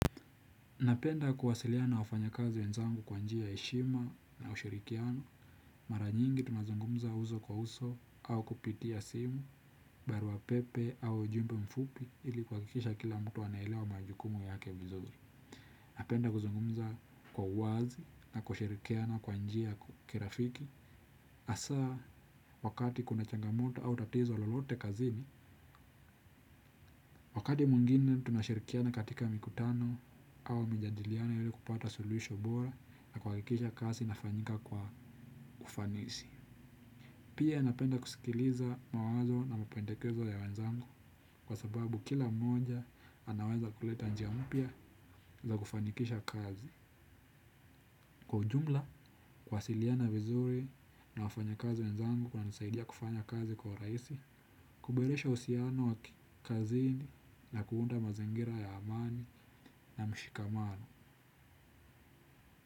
Napenda kuwasiliana na wafanya kazi wenzangu kwa njia ya heshima na ushirikiano. Mara nyingi tunazungumza uso kwa uso au kupitia simu, barua pepe au ujumbe mfupi ili kuhakikisha kila mtu anaelewa majukumu yake vizuri. Napenda kuzungumza kwa uwazi na kushirikiana kwa njia ya kirafiki, hasa wakati kuna changamoto au tatizo lolote kazini. Wakati mwingine tunashirikiana katika mikutano au mijadiliano ili kupata suluhisho bora na kuhakikisha kazi inafanyika kwa ufanisi. Pia napenda kusikiliza mawazo na mapendekezo ya wenzangu, kwa sababu kila mmoja anaweza kuleta njia mpya za kufanikisha kazi. Kwa ujumla, kuwasiliana vizuri na wafanya kazi wenzangu kunanisaidia kufanya kazi kwa urahisi, kuboresha uhusiano wa kikazini na kuunda mazingira ya amani na mshikamano.